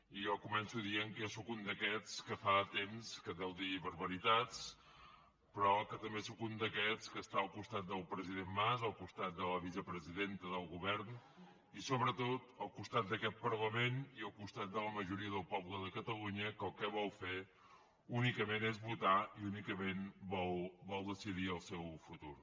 i jo començo dient que jo sóc un d’aquests que fa temps que deu dir barbaritats però que també sóc un d’aquests que està al costat del president mas al costat de la vicepresidenta del govern i sobretot al costat d’aquest parlament i al costat de la majoria del poble de catalunya que el que vol fer únicament és votar i únicament vol decidir el seu futur